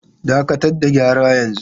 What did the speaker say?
Dakatar da gyara yanzu!